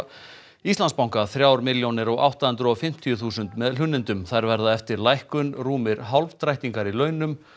Íslandsbanka þrjár milljónir og átta hundruð og fimmtíu þúsund með hlunnindum þær verða eftir lækkun rúmir hálfdrættingar í launum